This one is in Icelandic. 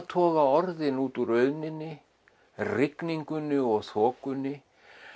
toga orðin út úr auðninni rigningunni og þokunni